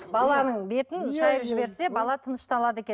баланың бетін шайып жіберсе бала тынышталады екен